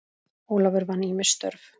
Ólafur vann ýmis störf.